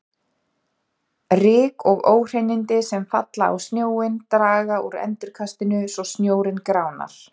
Ryk og óhreinindi sem falla á snjóinn draga úr endurkastinu svo snjórinn gránar.